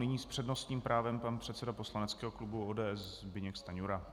Nyní s přednostním právem pan předseda poslaneckého klubu ODS Zbyněk Stanjura.